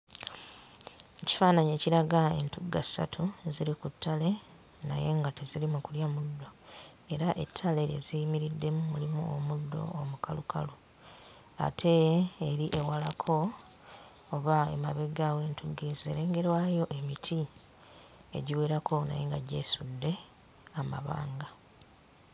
Ekifaananyi ekiraga entugga ssatu nga ziri ku ttale naye nga teziri mu kulya muddo era ettale lye ziyimiriddemu mulimu omuddo omukalukalu ate eri ewalako oba emabega w'entugga ezo erengerwayo emiti egiwerako naye nga gyesudde amabanga.